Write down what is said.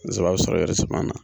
zaba sɔrɔ eresiman na